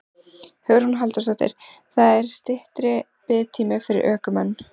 Hugrún Halldórsdóttir: Það er styttri biðtími fyrir ökumenn?